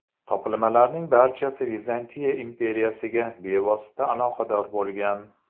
Topilmalarning barchasi Vizantiya imperiyasiga bevosita aloqador bo‘lgan.